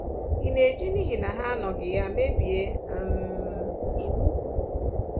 Ị̀ na-eji n’ihi na ha anọghị ya mebie um iwu?